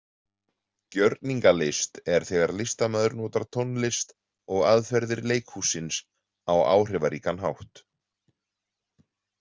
Gjörningalist er þegar listamaður notar tónlist og aðferðir leikhússins á áhrifaríkan hátt.